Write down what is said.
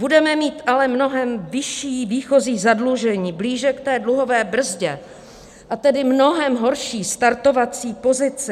Budeme mít ale mnohem vyšší výchozí zadlužení, blíže k té dluhové brzdě, a tedy mnohem horší startovací pozici.